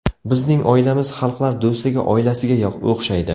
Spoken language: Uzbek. Bizning oilamiz xalqlar do‘stligi oilasiga o‘xshaydi.